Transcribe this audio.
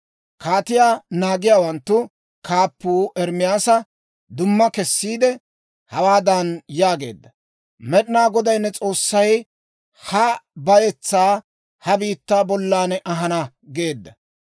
Kaatiyaa naagiyaawanttu kaappuu Ermaasa dumma kessiide, hawaadan yaageedda; «Med'inaa Goday ne S'oossay ha bayetsaa ha biittaa bollan ahana geedda.